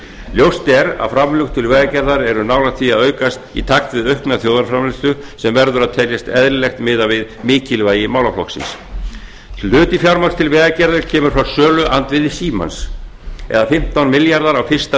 ljóst er að framlög til vegagerðar eru nálægt því að aukast í takt við aukna þjóðarframleiðslu sem verður að teljast eðlilegt miðað við mikilvægi málaflokksins sem hluti fjármagns til vegagerðar kemur fram söluandvirði símans eða fimmtán milljarðar á fyrsta